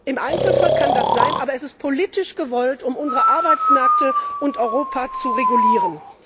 Im Einzelfall kann das sein, aber es ist politisch gewollt, um unsere Arbeitsmärkte und Europa zu regulieren.